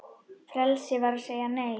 Frelsi er að segja Nei!